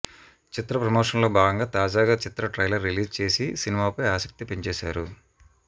చిత్ర ప్రమోషన్స్లో భాగంగా తాజాగా చిత్ర ట్రైలర్ రిలీజ్ చేసి సినిమాపై ఆసక్తి పెంచేశారు